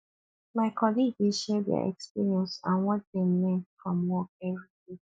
my colleague dey share their experience and what dem learn from work every day